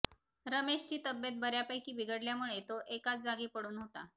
रमेशची तब्येत बऱ्यापैकी बिघडल्यामुळे तो एकाच जागी पडून होता